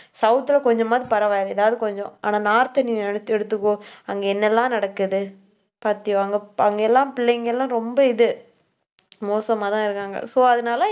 south ல கொஞ்சமாவது பரவாயில்லை. எதாவது கொஞ்சம். ஆனா north அ நீ எடுத்துக்கோ. அங்க என்னெல்லாம் நடக்குது அங்க எல்லாம் பிள்ளைங்க எல்லாம் ரொம்ப இது. மோசமாதான் இருக்காங்க. so அதனால